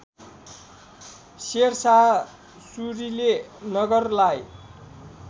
शेरशाह सुरीले नगरलाई